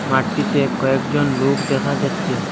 মাঠটিতে কয়েকজন লোক দেখা যাচ্চে ।